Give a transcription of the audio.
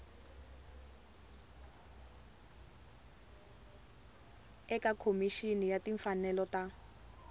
eka khomixini ya timfanelo ta